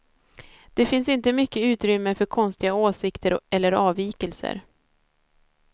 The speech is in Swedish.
Det finns inte mycket utrymme för konstiga åsikter eller avvikelser.